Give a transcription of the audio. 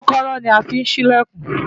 kọ́kọ́rọ́ la fi ń ṣí ìlẹ̀kùn